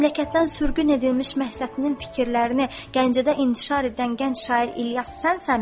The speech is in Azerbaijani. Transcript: Məmləkətdən sürgün edilmiş Məhsətinin fikirlərini Gəncədə intişar edən gənc şair İlyas sənsənmi?